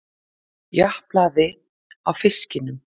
Japlaði á fiskinum.